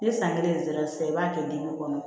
Ni san kelen sera sisan i b'a kɛ dimi kɔnɔ